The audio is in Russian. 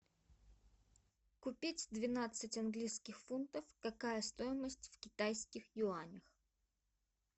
купить двенадцать английских фунтов какая стоимость в китайских юанях